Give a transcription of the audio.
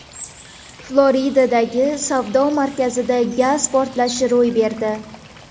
Floridadagi savdo markazida gaz portlashi ro‘y berdi.